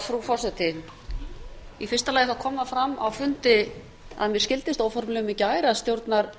frú forseti í fyrsta lagi kom fram á fundi að mér skildist óformlegum í gær að stjórnarliðar